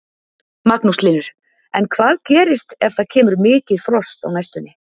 Magnús Hlynur: En hvað gerist ef það kemur mikið frost á næstunni?